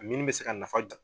Mini bɛ se ka nafa jo